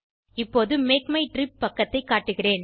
இப்போது MakeMyTrip பக்கத்தை காட்டுகிறேன்